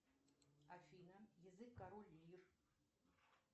афина язык король лир